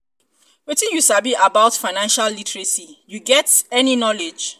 wetin you sabi about um financial literacy um you get get any knowledge?